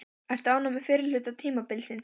Ertu ánægður með fyrri hluta tímabilsins?